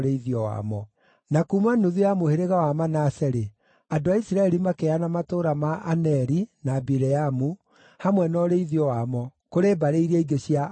Na kuuma nuthu ya mũhĩrĩga wa Manase-rĩ, andũ a Isiraeli makĩheana matũũra ma Aneri na Bileamu, hamwe na ũrĩithio wamo, kũrĩ mbarĩ iria ingĩ cia Akohathu.